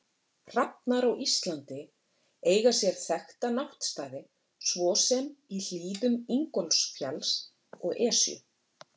Hrafnar á Íslandi eiga sér þekkta náttstaði svo sem í hlíðum Ingólfsfjalls og Esju.